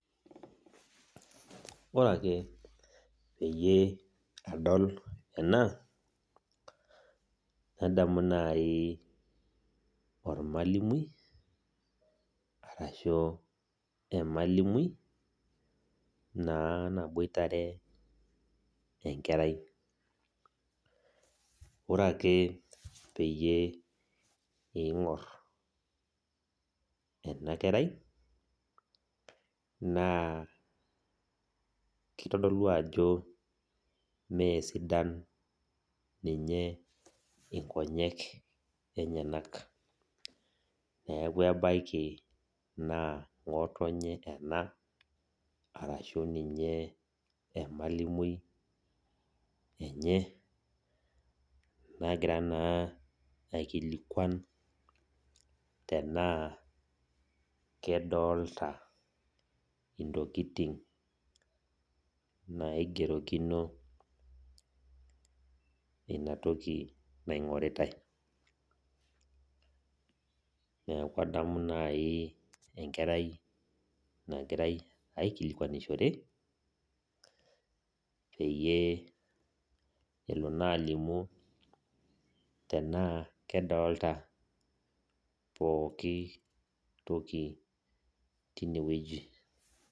Ore ake peyie adol ena, nadamu naai ormwalimui arashu emalimui, naa naboitare enkerai ore ake piingorr ena kerai naa kitodolu ajo meesidan ninye inkonyek enyenk, neeku ebaiki naa ngotonye ena, arashu ninye emalimui enye nagira naa aikilikwan tenaa kadolta intokitin naigerokino ina toki naigoritae, neeku adamu naai enkerai naai nagirae aikilikwanishore peyie elo naa alimu tenaa kadolta pooki toki tine wueji .